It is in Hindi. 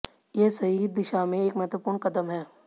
ये सही दिशा में एक महत्वपूर्ण क़दम है